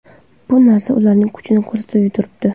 Bu narsa ularning kuchini ko‘rsatib turibdi.